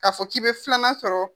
K'a fɔ k'i bɛ filanan sɔrɔ